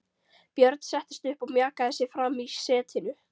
Björn settist upp og mjakaði sér fram í setinu.